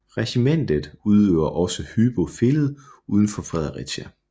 Regimentet opererer også Hyby Fælled uden for Fredericia